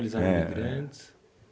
Eles eram imigrantes?